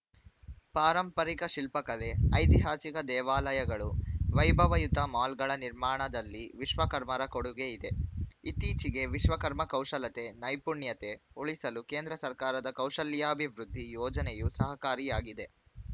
ಪಾರಂಪರಿಕ ಶಿಲ್ಪಕಲೆ ಐತಿಹಾಸಿಕ ದೇವಾಲಯಗಳು ವೈಭವಯುತ ಮಾಲ್‌ಗಳ ನಿರ್ಮಾಣದಲ್ಲಿ ವಿಶ್ವಕರ್ಮರ ಕೊಡುಗೆ ಇದೆ ಇತ್ತೀಚೆಗೆ ವಿಶ್ವಕರ್ಮ ಕೌಶಲ್ಯತೆ ನೈಪುಣ್ಯತೆ ಉಳಿಸಲು ಕೇಂದ್ರ ಸರ್ಕಾರದ ಕೌಶಲ್ಯಾಭಿವೃದ್ಧಿ ಯೋಜನೆಯು ಸಹಕಾರಿಯಾಗಿದೆ